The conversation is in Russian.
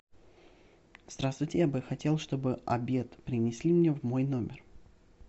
здравствуйте я бы хотел чтобы обед принесли мне в мой номер